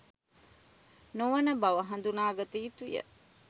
නොවන බව හඳුනාගත යුතුය